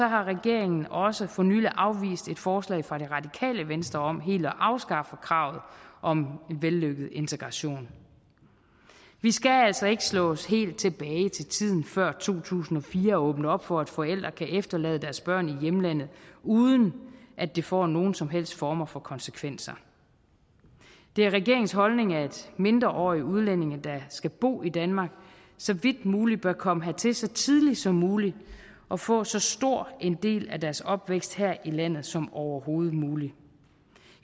har regeringen også for nylig afvist et forslag fra det radikale venstre om helt at afskaffe kravet om en vellykket integration vi skal altså ikke slås helt tilbage til tiden før to tusind og fire og åbne op for at forældre kan efterlade deres børn i hjemlandet uden at det får nogen som helst former for konsekvenser det er regeringens holdning at mindreårige udlændinge der skal bo i danmark så vidt muligt bør komme hertil så tidligt som muligt og få så stor en del af deres opvækst her i landet som overhovedet muligt